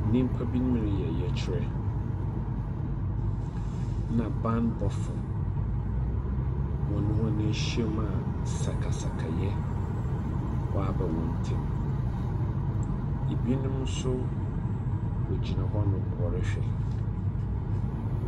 Nnipabinom reyɛ ɔyɛkyerɛ na bammɔfoɔ wɔn ne wɔn ahyaim a sakasakayɛ aba wɔn ntam. Ebinom nso wɔgyina hɔnom wɔrehwɛ.